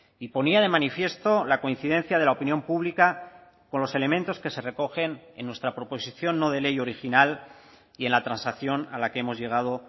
y ponía de manifiesto la coincidencia de la opinión pública con los elementos que se recogen en nuestra proposición no de ley original y en la transacción a la que hemos llegado